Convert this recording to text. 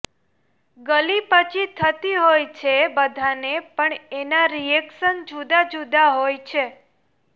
ગલીપચી થતી હોય છે બધાને પણ એના રિએક્શન જુદાં જુદાં હોય છે